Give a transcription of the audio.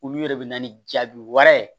Olu yɛrɛ de bɛ na ni jaabi wɛrɛ ye